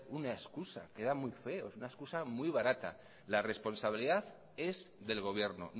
una excusa queda muy feo es una excusa muy barata la responsabilidad es del gobierno